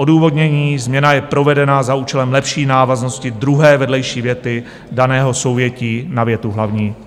Odůvodnění: změna je provedena za účelem lepší návaznosti druhé vedlejší věty daného souvětí na větu hlavní.